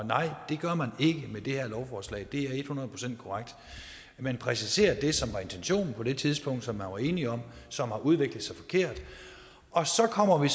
nej det gør man ikke med det her lovforslag det er et hundrede procent korrekt man præciserer det som var intentionen på det tidspunkt som man var enige om og som har udviklet sig forkert og så kommer vi